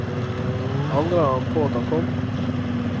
Angrer han på at han kom?